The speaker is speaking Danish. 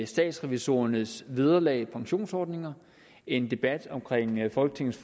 statsrevisorernes vederlag og pensionsordninger en debat om folketingets